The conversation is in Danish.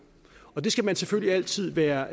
og det skal man selvfølgelig altid være